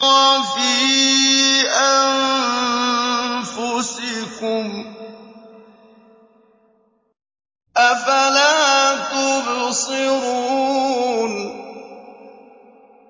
وَفِي أَنفُسِكُمْ ۚ أَفَلَا تُبْصِرُونَ